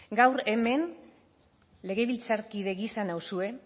gaur hemen legebiltzarkide gisa nauzue